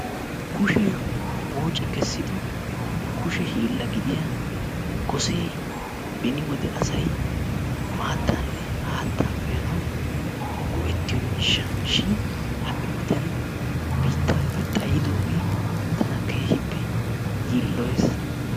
Kushee woocci kessido kushshe hiilla gidiya Gosee beni wode asay maattaanne haattaa uyanawu go'ettiyo miishsha shin ha'i wodiyan biittaappe xayidoogee tana keehippe yiiloyees.